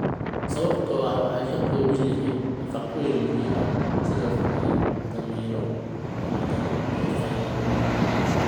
sababtoo ah waxay ka kooban yihiin nafaqooyin muhiim ah sida fiitamiino, macdano, iyo fiber.